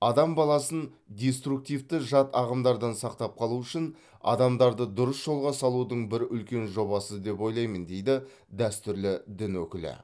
адам баласын диструктивті жат ағымдардан сақтап қалу үшін адамдарды дұрыс жолға салудың бір үлкен жобасы деп ойлаймын дейді дәстүрлі дін өкілі